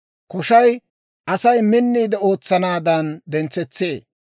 Koshay Asay minniide ootsanaadan dentsetsee.